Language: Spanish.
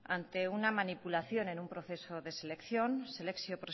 claramente ante una manipulación en un proceso de selección selekzio